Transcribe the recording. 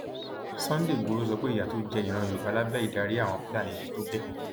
sunday igboro sọ pé ìyà tó jẹ ìran yorùbá lábẹ ìdarí àwọn fúlàní ti tó gẹẹ